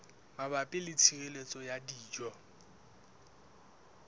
mabapi le tshireletso ya dijo